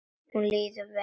Líður vel.